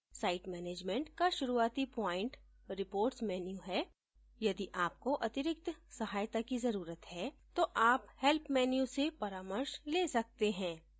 site management का शुरूआती point reports menu है यदि आप को अतिरिक्त सहायता की जरूरत है तो आप help menu से परामर्श the सकते हैं